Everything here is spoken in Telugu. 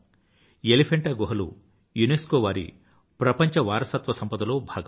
ఎలిఫెంటా గుహలు యునెస్కో వారి ప్రపంచవారసత్వ సంపద లో భాగం